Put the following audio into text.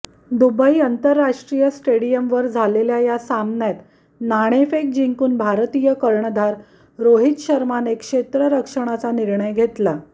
Dubai आंतरराष्ट्रीय स्टेडियमवर झालेल्या या सामन्यात नाणेफेक जिंकून भारतीय कर्णधार रोहित शर्माने क्षेत्ररक्षणाचा निर्णय घेतला